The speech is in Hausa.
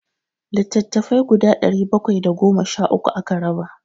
Littattafai guda ɗari bakwai da goma sha uku aka raba.